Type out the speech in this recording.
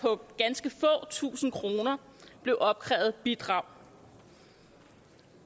på ganske få tusinde kroner blev opkrævet bidrag